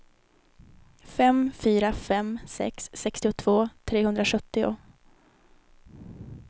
fem fyra fem sex sextiotvå trehundrasjuttio